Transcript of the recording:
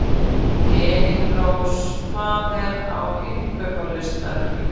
Elírós, hvað er á innkaupalistanum mínum?